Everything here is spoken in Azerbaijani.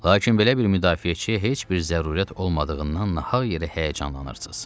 Lakin belə bir müdafiəçi heç bir zərurət olmadığından nahaq yerə həyəcanlanırsız.